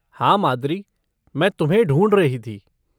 हाँ माद्रि, मैं तुम्हें ढूँढ रही थी।